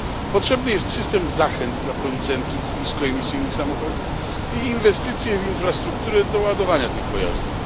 Potrzebny jest system zachęt dla producentów niskoemisyjnych samochodów i inwestycje w infrastrukturę do ładowania tych pojazdów.